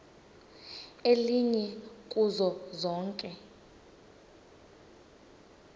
elinye kuzo zonke